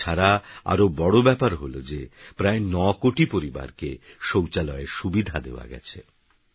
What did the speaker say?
তাছাড়া আরওবড়ব্যাপারহলযেপ্রায়নয়কোটিপরিবারকেশৌচালয়েরসুবিধাদেওয়াগেছে